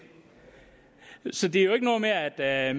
så det er jo ikke noget med at at